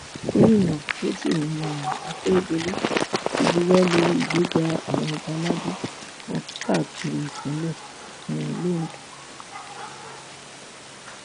gomina rotimi um akeredolu ti buwọ lu ìgbéga àwọn ọba aládé kan káàkiri ìpínlẹ um ondo